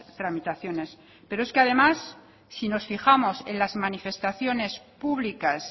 tramitaciones pero es que además si nos fijamos en las manifestaciones públicas